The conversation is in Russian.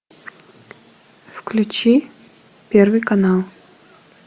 включи первый канал